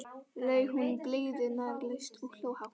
laug hún blygðunarlaust og hló hátt.